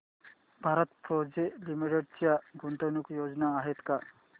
Bharat forge limited च्या गुंतवणूक योजना आहेत का